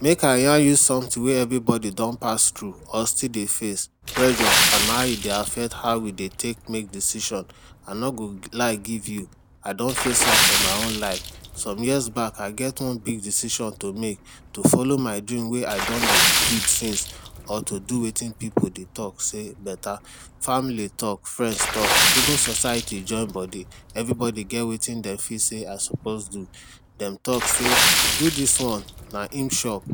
Make I yarn you sumtin wey every bodi don pass tru or still dey face, pressure and how e dey affect how we dey take make decision. I no go lie give you, I don face am for my own life. Some years back I get one big decision to make, to follow my dream. Wey I don dey build since or to do wetin pipu dey talk sey beta. Family talk, friends talk, even society join bodi. Every bodi get wetin dem fit sey I suppose do. Dem talk sey; do dis one, na im sure.